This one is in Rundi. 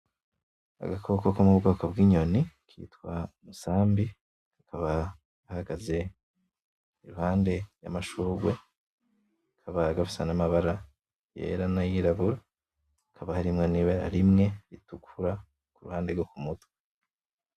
Agakoko ko mu bwoko bw’inyoni kitwa umusambi , kakaba gahagaze iruhande y’amashugwe kakaba gafise amabara yera n’ayirabura hakaba harimwo nibara rimwe ritukura kuruhande rwo kumutwe .